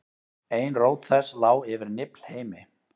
ein rót þess lá yfir niflheimi